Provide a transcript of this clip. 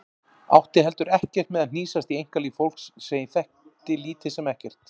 Átti heldur ekkert með að hnýsast í einkalíf fólks sem ég þekkti lítið sem ekkert.